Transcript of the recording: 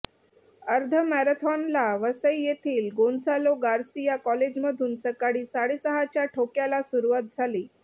अर्ध मॅरेथॉनला वसई येथील गोन्सालो गार्सिया कॉलेजमधून सकाळी साडेसहाच्या ठोक्याला सुरुवात झाली